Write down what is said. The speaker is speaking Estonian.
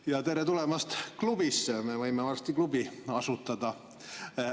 Ja tere tulemast klubisse, me võime varsti klubi asutada.